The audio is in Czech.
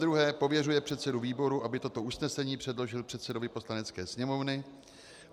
Zadruhé pověřuje předsedu výboru, aby toto usnesení předložil předsedovi Poslanecké sněmovny.